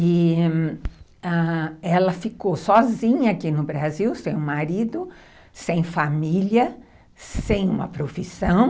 E ela ficou sozinha aqui no Brasil, sem o marido, sem família, sem uma profissão.